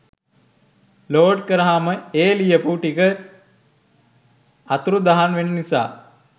load කරහම ඒ ලියපු ටික අතුරුදහන් වෙන නිසා